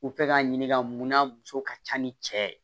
U fɛ ka ɲini ka munna muso ka ca ni cɛ ye